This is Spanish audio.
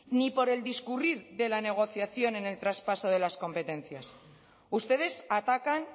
ni por el discurrir de la negociación en el traspaso de las competencias ustedes atacan